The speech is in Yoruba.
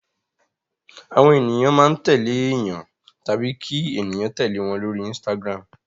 Àwọn ènìyàn máa ń tẹ̀lé èèyàn tàbí kí ènìyàn tẹ̀lé wọn lórí Instagram.